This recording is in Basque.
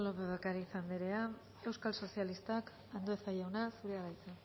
lópez de ocariz anderea euskal sozialistak andueza jauna zurea da hitza